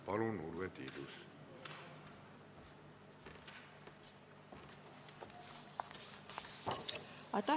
Palun, Urve Tiidus!